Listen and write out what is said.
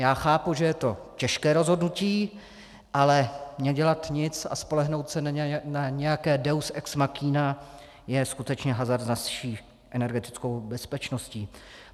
Já chápu, že je to těžké rozhodnutí, ale nedělat nic a spolehnout se na nějaké deus ex machina je skutečně hazard nad vší energetickou bezpečností.